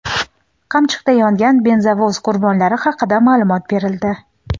"Qamchiq"da yongan benzovoz qurbonlari haqida ma’lumot berildi.